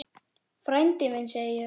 Frændi minn, segi ég.